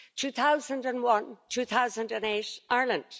2001 and 2008 Ireland